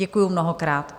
Děkuji mnohokrát.